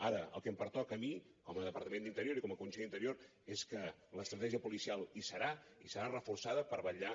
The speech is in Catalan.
ara el que em pertoca a mi com a departament d’interior i com a conseller d’interior és que l’estratègia policial hi serà i serà reforçada per vetllar